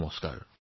নমস্কাৰ